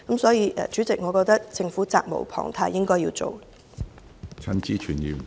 所以，主席，我認為政府責無旁貸，應該採取行動。